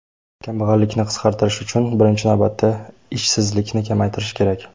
Kambag‘allikni qisqartirish uchun birinchi navbatda ishsizlikni kamaytirish kerak.